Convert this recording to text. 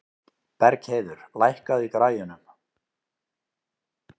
Bergheiður, lækkaðu í græjunum.